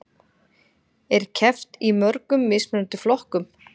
Er keppt í mörgum mismunandi flokkum